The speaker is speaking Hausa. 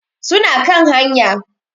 Suna kan haya.